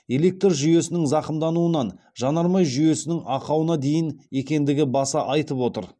электр жүйесінің зақымдануынан жанармай жүйесінің ақауына дейін екендігі баса айтып отыр